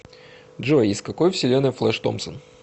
джой из какой вселенной флэш томпсон